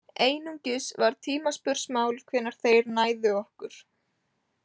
Einungis var tímaspursmál hvenær þeir næðu okkur.